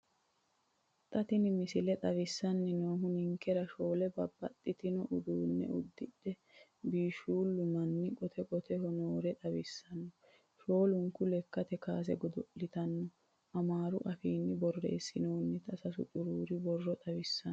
Xa tini misile xawissanni noohu ninkera shoole babbaxxitino uddanna uddidhino biishshuulle manna qote qoteho noore xawissanno. Shoolunku lekkate kaase godo'laanootinna amaaru afiinni borreessinoonnita sasu xuruuri borro xawissanno.